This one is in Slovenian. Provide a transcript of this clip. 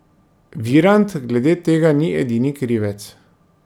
Virant glede tega ni edini krivec.